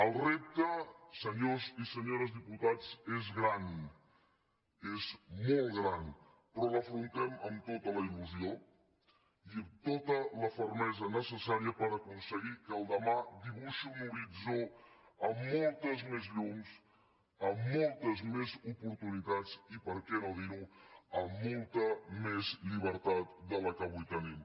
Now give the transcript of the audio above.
el repte senyores i senyores diputats és gran és molt gran però l’afrontem amb tota la ilfermesa necessària per aconseguir que el demà dibuixi un horitzó amb moltes més llums amb moltes més oportunitats i per què no dir ho amb molta més llibertat de la que avui tenim